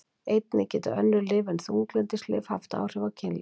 Einnig geta önnur lyf en þunglyndislyf haft áhrif á kynlíf.